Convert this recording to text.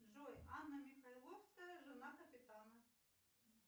джой анна михайловская жена капитана